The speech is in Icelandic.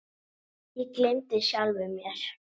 Ég gleymdi sjálfum mér.